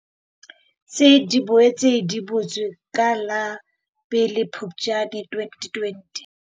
Tsi di boetse di butswe ka la pele Phuptjane 2020.